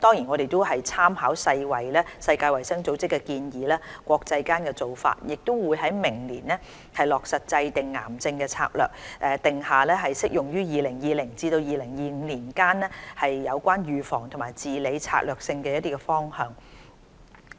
我們也參考世界衞生組織的建議和國際間的做法，將於明年落實制訂癌症策略，以定下適用於2020年至2025年期間相關預防及治理的策略性方向。